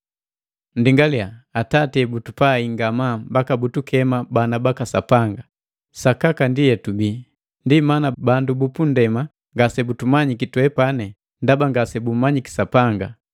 Nndingalia, Atati ebutupai ngamaa mbaka butukema bana baka Sapanga! Sakaka ndi etubile. Ndi mana bandu bupunndema ngase butumanyiki twepani, ndaba ngase bummanyi Sapanga.